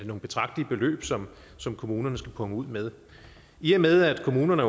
nogle betragtelige beløb som som kommunerne skal punge ud med i og med at kommunerne